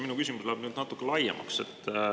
Minu küsimus läheb nüüd natuke laiemaks.